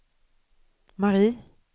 Marie